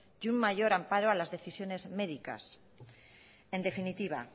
y un mayor amparo a las decisiones médicas en definitiva